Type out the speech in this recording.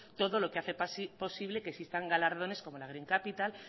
todo lo que hace posible que existan galardones como la green capital